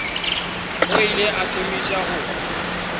o ile a thomiša go